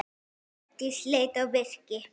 Hjördís leit á Birki.